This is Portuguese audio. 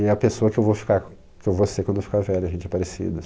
E é a pessoa que eu vou ficar, que eu vou ser quando eu ficar velho, a gente é parecido.